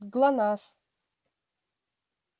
глонассс